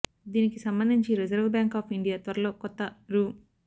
దినికి సంబంధించి reserve bank of India త్వరలో కొత్త రూ